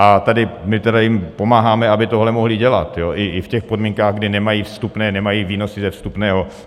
A tady my tedy jim pomáháme, aby tohle mohli dělat i v těch podmínkách, kdy nemají vstupné, nemají výnosy ze vstupného.